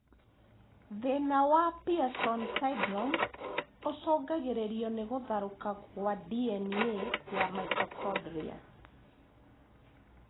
Thĩna wa Pearson syndrome ũcũngagĩrĩrio nĩ gũtharũka gwa DNA ya mitochondrial